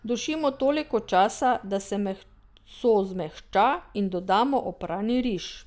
Dušimo toliko časa, da se meso zmehča, in dodamo oprani riž.